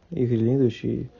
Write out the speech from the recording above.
следующий